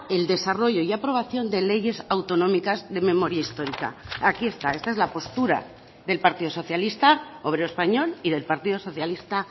el desarrollo y aprobación de leyes autonómicas de memoria histórica aquí está esta es la postura del partido socialista obrero español y del partido socialista